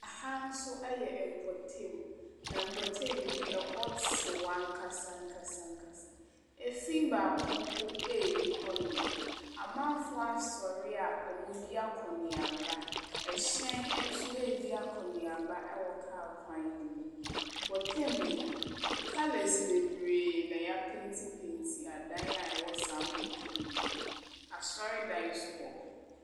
Aha nso yɛ mpɔtamu. Mpɔtamu yi ɛhɔ tew ankasa ankasa ankasa. Efi baako mpo nni hɔnom. Amanfoɔ asɔre a wɔredi akɔ-ne-aba. ℇhyɛn nso redi akɔ-ne-aba wɔ kaa kwan no mu.